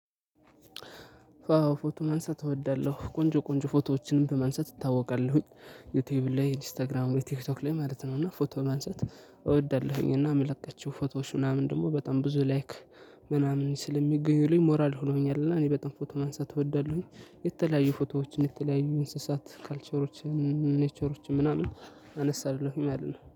አዎ ፎቶ ማንሳት እወዳለሁ ቆንጆ ቆንጆ ፎቶዎችን በማንሳት እታወቃለሁኝ። ዩቲዩብ ላይ ኢንስታግራም ወይ ቲክቶክ ላይ ማለት ነው። እና ፎቶ ማንሳት። እወዳለሁኝ እና መለቃቸው ፎቶዎች ምናምን ደግሞ በጣም ብዙ ላይክ ምናምን ስለሚገኙልኝ ሞራል ሆነውኛል። እና እኔ በጣም ፎቶ ማንሳት እወዳለሁኝ። የተለያዩ ፎቶዎችን የተለያዩ እንስሳት ካልቸሮች። ኔቸሮች ምናምን አነሳለሁኝ ማለት ነው